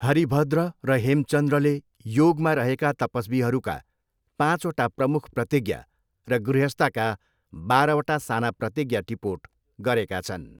हरिभद्र र हेमचन्द्रले योगमा रहेका तपस्वीहरूका पाँचवटा प्रमुख प्रतिज्ञा र गृहस्थका बाह्रवटा साना प्रतिज्ञा टिपोट गरेका छन्।